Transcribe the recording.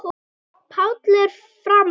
Páll er frammi.